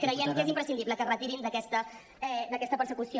creiem que és imprescindible que es retirin d’aquesta persecució